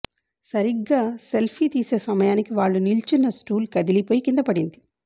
సరిగ్గా సెల్ఫీ తీసే సమయానికి వాళ్లు నిల్చున్న స్టూల్ కదిలిపోయి కిందపడింది